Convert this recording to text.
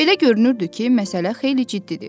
Belə görünürdü ki, məsələ xeyli ciddidir.